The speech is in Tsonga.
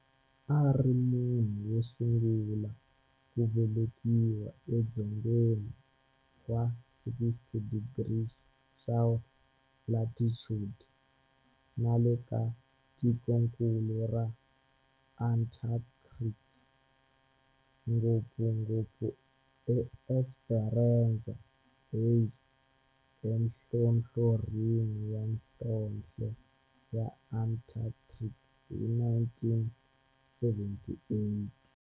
A ri munhu wo sungula ku velekiwa edzongeni wa 60 degrees south latitude nale ka tikonkulu ra Antarctic, ngopfungopfu eEsperanza Base enhlohlorhini ya nhlonhle ya Antarctic hi 1978.